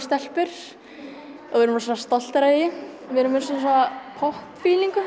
stelpur og við erum rosalega stoltar af því við erum með svona